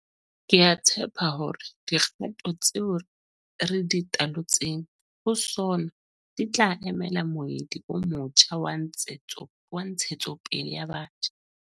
Ke a tshepa hore dikgato tseo re di talotseng ho SoNA di tla emela moedi o motjha wa ntshetsopele ya batjha.